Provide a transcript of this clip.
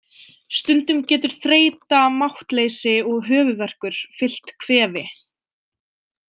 Stundum getur þreyta, máttleysi og höfuðverkur fylgt kvefi.